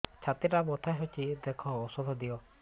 ଛାତି ଟା ବଥା ହଉଚି ଦେଖ ଔଷଧ ଦିଅ